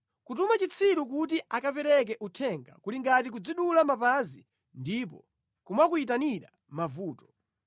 Kutuma chitsiru kuti akapereke uthenga kuli ngati kudzidula mapazi ndipo kumakuyitanira mavuto.